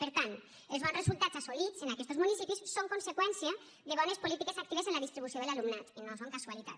per tant els bons resultats assolits en aquestos municipis són conseqüència de bones polítiques actives en la distribució de l’alumnat no són casualitat